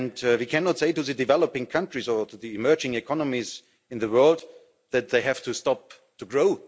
do. We cannot say to the developing countries or to the emerging economies in the world that they have to stop to grow.